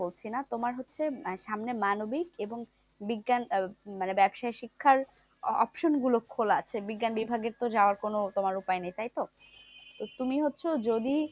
বলছি না তোমার হচ্ছে সামনে মানবিক এবং বিজ্ঞান আহ মানে ব্যবসায়িক শিক্ষার option গুলো খোলা আছে। বিজ্ঞান বিভাগের তো যাওয়ার কোনো তোমার উপায় নেই, তাইতো? তুমি হচ্ছে যদি